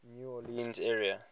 new orleans area